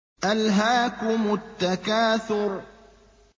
أَلْهَاكُمُ التَّكَاثُرُ